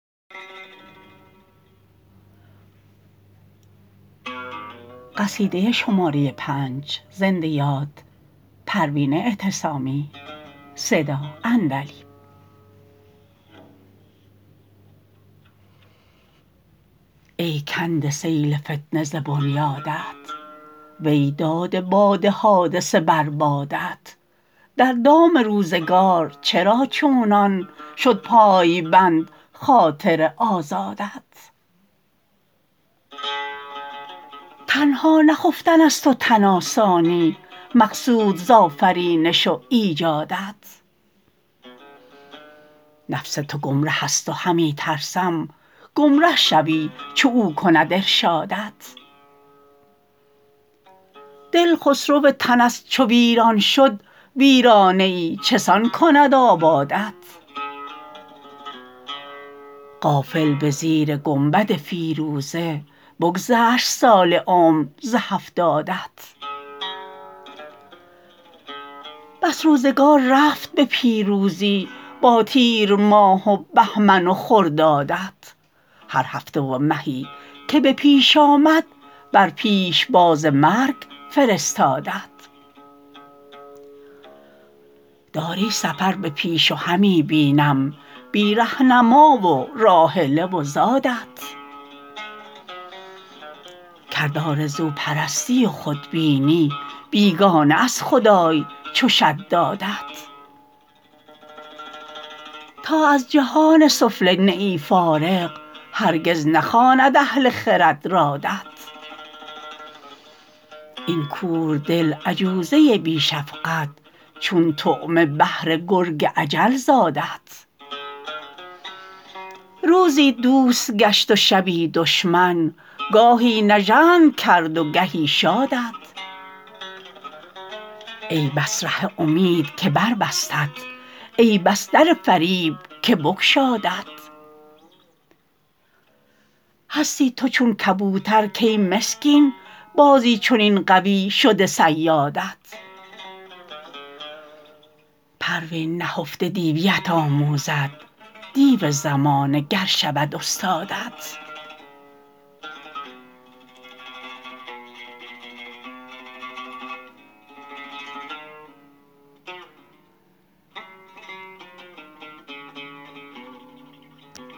ای کنده سیل فتنه ز بنیادت وی داده باد حادثه بر بادت در دام روزگار چرا چونان شد پایبند خاطر آزادت تنها نه خفتن است و تن آسانی مقصود ز آفرینش و ایجادت نفس تو گمره است و همی ترسم گمره شوی چو او کند ارشادت دل خسرو تن است چو ویران شد ویرانه ای چسان کند آبادت غافل بزیر گنبد فیروزه بگذشت سال عمر ز هفتادت بس روزگار رفت به پیروزی با تیرماه و بهمن و خردادت هر هفته و مهی که به پیش آمد بر پیشباز مرگ فرستادت داری سفر به پیش و همی بینم بی رهنما و راحله و زادت کرد آرزو پرستی و خود بینی بیگانه از خدای چو شدادت تا از جهان سفله نه ای فارغ هرگز نخواند اهل خرد رادت این کور دل عجوزه بی شفقت چون طعمه بهر گرگ اجل زادت روزیت دوست گشت و شبی دشمن گاهی نژند کرد و گهی شادت ای بس ره امید که بربستت ای بس در فریب که بگشادت هستی تو چون کبوترکی مسکین بازی چنین قوی شده صیادت پروین نهفته دیویت آموزد دیو زمانه گر شود استادت